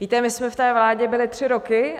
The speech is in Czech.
Víte, my jsme v té vládě byly tři roky.